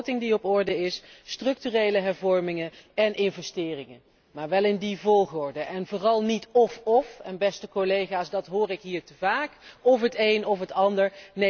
Een begroting die op orde is, structurele hervormingen en investeringen, maar wel in die volgorde en vooral niet of of, want dat hoor ik hier te vaak of het een of het ander.